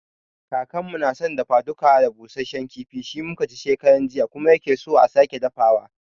Kakanmu na san dafa-duka da busashen kifi, shi mu ka ci shekaran jiya kuma ya ke so a sake dafawa.